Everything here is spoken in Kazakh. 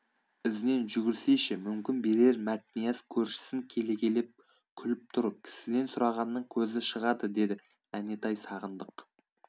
ізінен жүгірсейші мүмкін берер мәтнияз көршісін келекелеп күліп тұр кісіден сұрағанның көзі шығады деді әнетай сағындық